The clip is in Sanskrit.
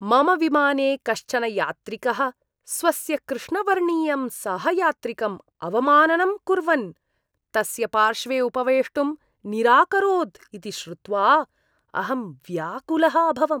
मम विमाने कश्चन यात्रिकः स्वस्य कृष्णवर्णीयं सहयात्रिकम् अवमाननं कुर्वन्, तस्य पार्श्वे उपवेष्टुं निराकरोत् इति श्रुत्वा अहं व्याकुलः अभवम्।